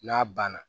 N'a banna